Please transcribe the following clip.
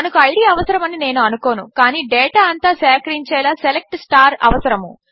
మనకు ఐడీ అవసరమని నేను అనుకోను కాని డేటా అంతా సేకరించేలా సెలెక్ట్ అవసరము